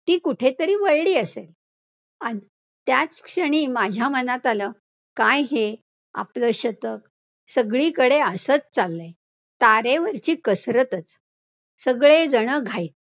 ती कुठेतरी वळली असेल, आणि त्याच क्षणी माझ्या मनात आलं, काय हे आपलं शतक, सगळीकडे असच चाललंय, तारेवरची कसरतचं सगळेजण घाईत.